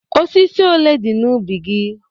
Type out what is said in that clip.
Osisi ole dị n'ubi gị?